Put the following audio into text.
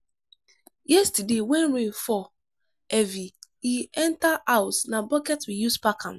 yesterday wen rain fall heavy e enter house na bucket we use pack am.